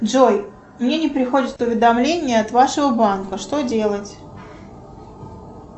джой мне не приходит уведомление от вашего банка что делать